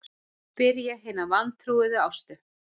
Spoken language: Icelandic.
spyr ég hina vantrúuðu Ástu.